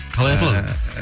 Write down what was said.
қалай аталады